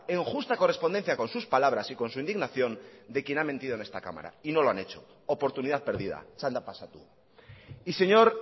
en justa correspondencia con sus palabras y con su indignación de quien ha mentido en esta cámara y no lo han hecho oportunidad perdida txanda pasatu y señor